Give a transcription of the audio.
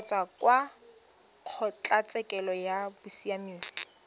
kgotsa kwa kgotlatshekelo ya bosiamisi